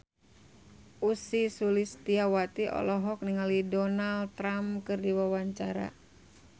Ussy Sulistyawati olohok ningali Donald Trump keur diwawancara